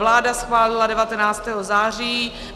Vláda schválila 19. září.